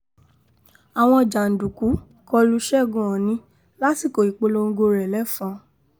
àwọn jàǹdùkú kọ lu ṣẹ́gun ọ̀nì lásìkò ìpolongo rẹ̀ lẹ́fọ́n